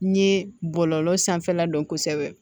N ye bɔlɔlɔ sanfɛla dɔn kosɛbɛ